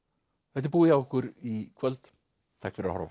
þetta er búið hjá okkur í kvöld takk fyrir að horfa